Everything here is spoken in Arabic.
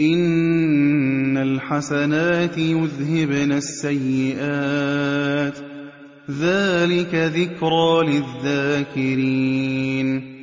إِنَّ الْحَسَنَاتِ يُذْهِبْنَ السَّيِّئَاتِ ۚ ذَٰلِكَ ذِكْرَىٰ لِلذَّاكِرِينَ